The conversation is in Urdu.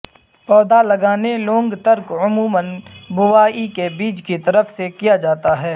پودے لگانے لونگ ترک عموما بوائی کے بیج کی طرف سے کیا جاتا ہے